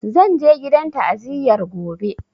Zan je gidan ta'aziyar gobe